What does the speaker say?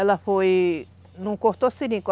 Ela foi... Não cortou seringa.